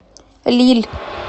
лилль